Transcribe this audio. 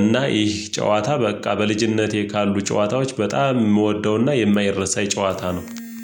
እና ይህ ጨዋታ በቃ በልጅነቴ ካሉ ጨዋታዎች በጣም የምወደውና የማይረሳ የጨዋታ ነው